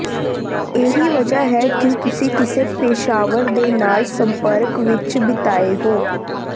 ਇਹੀ ਵਜ੍ਹਾ ਹੈ ਕਿ ਤੁਸੀਂ ਕਿਸੇ ਪੇਸ਼ਾਵਰ ਦੇ ਨਾਲ ਸੰਪਰਕ ਵਿਚ ਬਿਤਾਏ ਹੋ